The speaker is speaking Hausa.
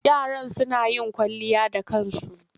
Yaron suna yin kwalliya da kansu.